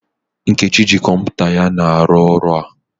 Nkechi ji kọmpụta ya na aru ọrụ a.